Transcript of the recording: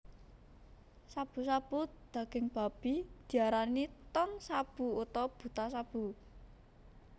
Shabu shabu daging babi diarani Tonshabu utawa Butashabu